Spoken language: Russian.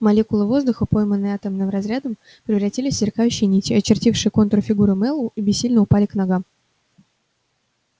молекулы воздуха пойманные атомным разрядом превратились в сверкающие нити очертившие контур фигуры мэллоу и бессильно упали к ногам